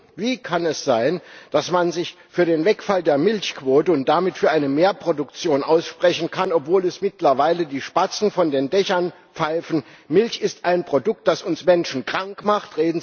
Und wie kann es sein, dass man sich für den Wegfall der Milchquote und damit für eine Mehrproduktion aussprechen kann, obwohl es mittlerweile die Spatzen von den Dächern pfeifen Milch ist ein Produkt, das uns Menschen krank macht.